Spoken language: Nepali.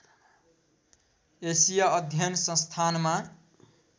एसिया अध्ययन संस्थानमा